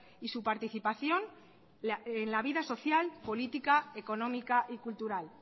y su participación en la vida social política económica y cultural